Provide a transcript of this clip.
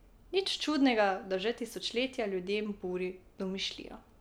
Nič čudnega, da že tisočletja ljudem buri domišljijo.